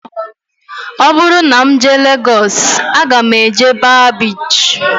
Ọ bụrụ na m jee Legọs aga m eje baa biichi